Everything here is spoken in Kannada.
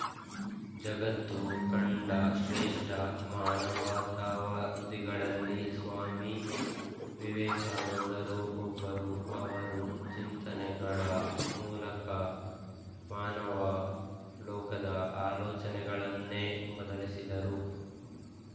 ಜಗತ್ತು ಕಂಡ ಶ್ರೇಷ್ಠ ಮಾನವತಾವಾದಿಗಳಲ್ಲಿ ಸ್ವಾಮಿ ವಿವೇಕಾನಂದರೂ ಒಬ್ಬರು ಅವರು ಚಿಂತನೆಗಳ ಮೂಲಕ ಮಾನವ ಲೋಕದ ಆಲೋಚನೆಗಳನ್ನೇ ಬದಲಿಸಿದರು